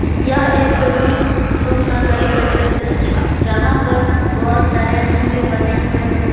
यह एक room room का गली का दृश्य है जहां पर बहुत सारे रूम भी बने हुए हैं।